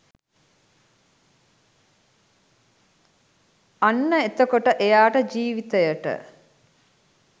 අන්න එතකොට එයාට ජීවිතයට